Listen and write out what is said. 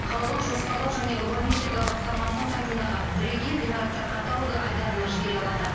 қалалық жоспарлау және урбанистика басқармасының сайтындағы бірегей ғимараттар каталогы айдарына жібере алады